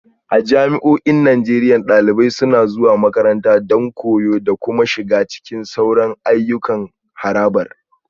A jami'o'in Najeriya, dalibai suna zuwa makaranta don koyo da kuma shiga cikin sauran ayyukan harabar